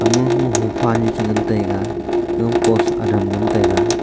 amo ngo hopha ani che ngan taiga gaga ma post adam ngan taiga.